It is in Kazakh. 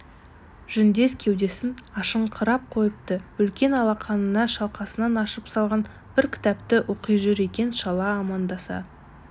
жүндес кеудесін ашыңқырап қойыпты үлкен алақанына шалқасынан ашып салған бір кітапты оқи жүр екен шала амандаса